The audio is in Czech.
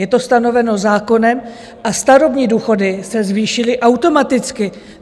Je to stanoveno zákonem a starobní důchody se zvýšily automaticky.